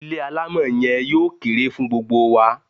Ilé alámọ̀ yen yóò kere fun gbogbo wa